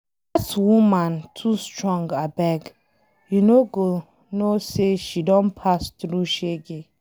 Dat woman too strong abeg. You no go know say she don pass through shege.